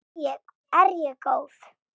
Er ég góð?